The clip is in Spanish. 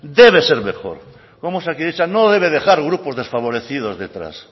debe ser mejor como osakidetza no debe dejar grupos desfavorecidos detrás